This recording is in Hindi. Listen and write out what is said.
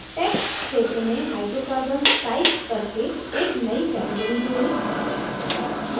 text क्षेत्र में hydrocarbons टाइप करके एक नयी category जोड़ें